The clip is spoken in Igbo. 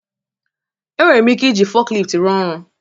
Enwere m ike iji forklift rụọ ọrụ